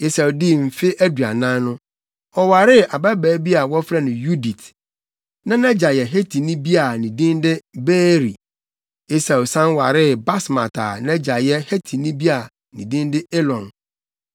Esau dii mfe aduanan no, ɔwaree ababaa bi a na wɔfrɛ no Yudit. Na nʼagya yɛ Hetini bi a ne din de Beeri. Esau san waree Basmat a nʼagya yɛ Hetini bi a ne din de Elon.